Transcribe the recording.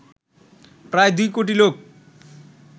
প্রায় দুই কোটি লোক